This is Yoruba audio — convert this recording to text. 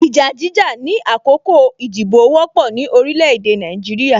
Ìjà jíjà ni àkókò ìdìbò wọ́pọ̀ ni orílẹ̀ èdè Nàìjíríà